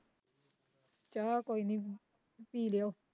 ਚਾਹ ਕੋਈ ਨੀ, ਪੀ ਲੀਓ